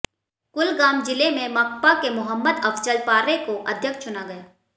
कुलगाम जिले में माकपा के मोहम्मद अफजल पार्रे को अध्यक्ष चुना गया